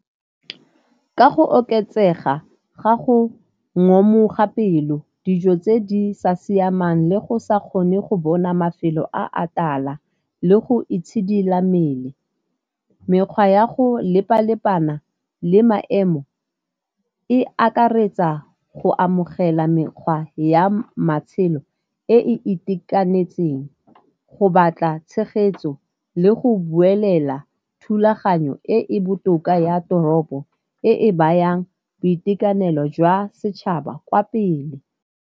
Ka go oketsega ga go ngomoga pelo, dijo tse di sa siamang le go sa kgone go bona mafelo a a tala le go itshidila mmele. Mekgwa ya go lepa-lepana le maemo e akaretsa go amogela mekgwa ya matshelo e e itekanetseng, go batla tshegetso le go buelela thulaganyo e e botoka ya toropo e e bayang boitekanelo jwa setšhaba kwa pele.